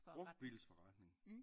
Brugtbilsforretning